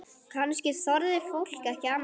Kannski þorði fólk ekki annað?